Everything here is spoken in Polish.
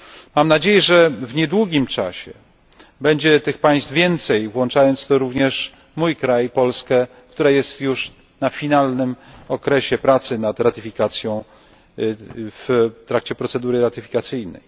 Mam nadzieję, że w niedługim czasie będzie tych państw więcej, włączając w to również mój kraj, Polskę, która jest już na finalnym etapie pracy nad ratyfikacją w trakcie procedury ratyfikacyjnej.